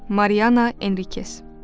Mariana Enrikes.